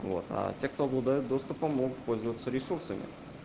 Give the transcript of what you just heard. вот а те кто обладают доступом могут пользоваться ресурсами